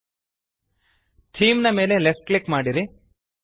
theme ನ ಮೇಲೆ left click ಮಾಡಿರಿ